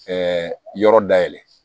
yɔrɔ dayɛlɛ